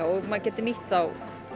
og maður getur nýtt þá